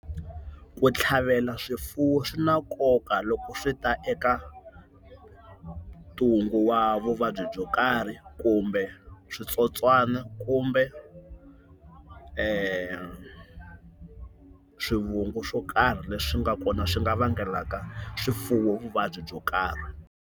Ku tlhavela swifuwo swi na nkoka loko swi ta eka ntungu wa vuvabyi byo karhi kumbe switsotswana kumbe, swivungu swo karhi leswi nga kona swi nga vangelaka swifuwo vuvabyi byo karhi.